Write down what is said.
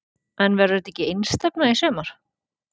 En verður þetta ekki einstefna í sumar?